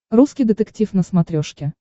русский детектив на смотрешке